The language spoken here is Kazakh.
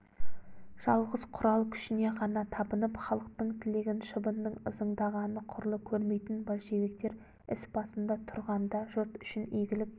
жалғыз құрал күшіне ғана табынып халықтың тілегін шыбынның ызыңдағаны құрлы көрмейтін большевиктер іс басында тұрғанда жұрт үшін игілік